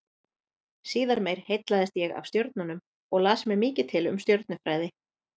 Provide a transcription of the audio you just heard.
Síðar meir heillaðist ég af stjörnunum og las mér mikið til um stjörnufræði.